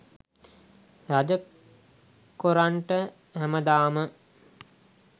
රජ කොරන්ට හැමදාම